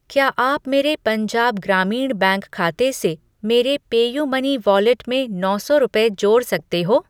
क्या आप मेरे पंजाब ग्रामीण बैंक खाते से मेरे पेयूमनी वॉलेट में नौ सौ रुपये जोड़ सकते हो?